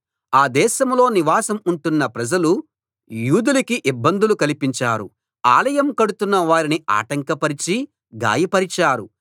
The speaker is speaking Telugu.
ఆ దేశంలో నివాసం ఉంటున్న ప్రజలు యూదులకి ఇబ్బందులు కల్పించారు ఆలయం కడుతున్న వారిని ఆటంకపరిచి గాయపరిచారు